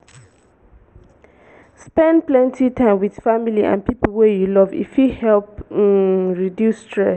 spend plenty time with family and pipo wey you love e fit help um reduce stress